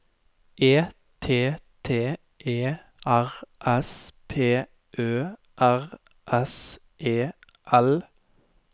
E T T E R S P Ø R S E L